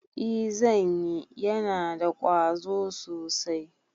I zanyi, yana da ƙwazo sosai